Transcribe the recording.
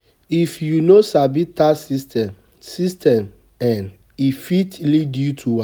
If you no sabi tax systems, system um e fit lead you to.